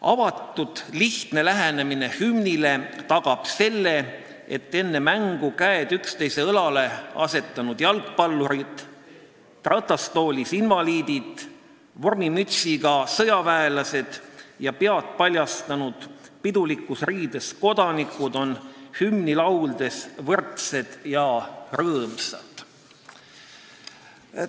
Avatud ja lihtne lähenemine hümnile tagab selle, et enne mängu käed üksteise õlale asetanud jalgpallurid, ratastoolis invaliidid, vormimütsiga sõjaväelased ja pead paljastanud pidulikus riides kodanikud on hümni lauldes võrdsed ja rõõmsad.